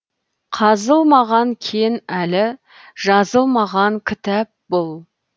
қазылмаған кен әлі жазылмаған кітап бұл